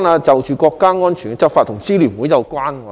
就國家安全執法與支聯會有關。